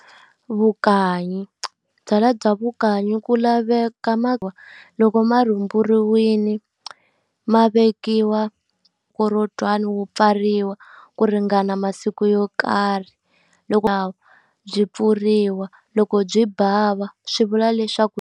Vukanyi. Byalwa bya vukanyi ku laveka ku va loko marhumburiwile, ma vekiwa mukorotwana wu pfariwa ku ringana masiku yo karhi. Loko byi pfuriwa loko byi bava swi vula leswaku.